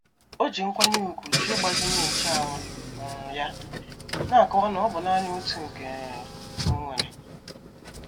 O ji nkwanye ùgwù jụ ịgbazinye nche anwụ um ya, na-akọwa na ọ bụ naanị otu nke um onwere.